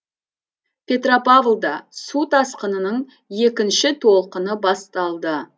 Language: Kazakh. петропавлда су тасқынының екінші толқыны басталды